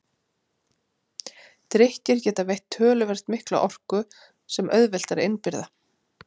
Drykkir geta veitt töluvert mikla orku sem auðvelt er að innbyrða.